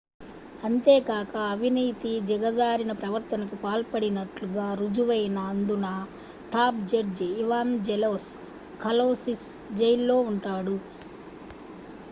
అంతేకాక అవినీతి దిగజారిన ప్రవర్తనకు పాల్పడినట్లు గారుజువైన ౦దున టాప్ జడ్జి ఇవాంజెలోస్ కలౌసిస్ జైల్లో ఉంటాడు